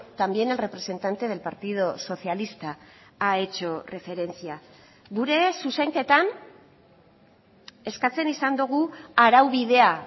también el representante del partido socialista ha hecho referencia gure zuzenketan eskatzen izan dugu araubidea